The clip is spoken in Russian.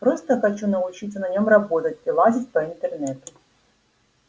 просто хочу научиться на нём работать и лазить по интернету